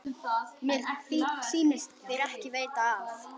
Mér sýnist þér ekki veita af.